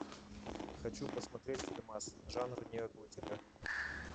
хочу посмотреть фильмас жанр неоготика